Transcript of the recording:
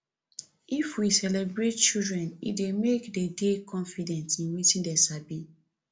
if we celebrate children e dey make de dey confident in wetin dem sabi